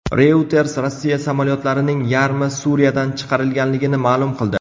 Reuters Rossiya samolyotlarining yarmi Suriyadan chiqarilganligini ma’lum qildi.